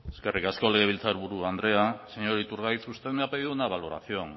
eskerrik asko legebiltzarburu andrea señor iturgaiz usted me ha pedido una valoración